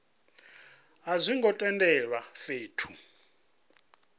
a zwo ngo tendelwa fhethu